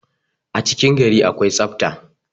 a cikin gari akwai tsafta